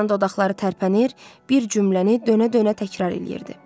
Doryanın dodaqları tərpənir, bir cümləni dönə-dönə təkrar eləyirdi.